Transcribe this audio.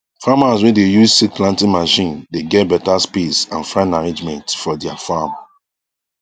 farmers wey dey use seed planting machine dey get better space and fine arrangement for their farm